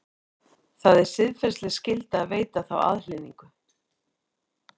Það er siðferðileg skylda að veita þá aðhlynningu.